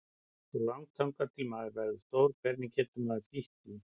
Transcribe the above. Svo langt þangað til maður verður stór, hvernig getur maður flýtt því?